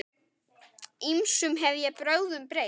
Ýmsum hef ég brögðum beitt.